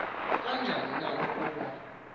kanjani na ukuba